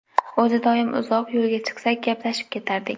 O‘zi doim uzoq yo‘lga chiqsak, gaplashib ketardik.